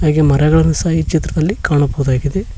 ಹಾಗೆ ಮರಗಳನ್ನು ಸಹ ಈ ಚಿತ್ರದಲ್ಲಿ ಕಾಣಬಹುದಾಗಿದೆ.